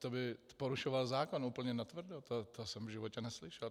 To by porušoval zákon úplně natvrdo, to jsem v životě neslyšel.